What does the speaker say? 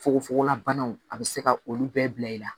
Fogo fogo la banaw a be se ka olu bɛɛ bila i la